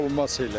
Olmaz elə.